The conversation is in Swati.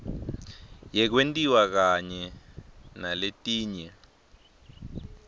yekwentiwa kanye naletinye